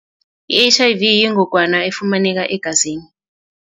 I-H_I_V yingogwana efumaneka egazini.